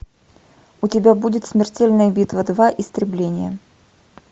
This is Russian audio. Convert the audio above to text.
у тебя будет смертельная битва два истребление